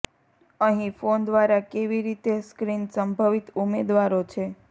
અહીં ફોન દ્વારા કેવી રીતે સ્ક્રીન સંભવિત ઉમેદવારો છે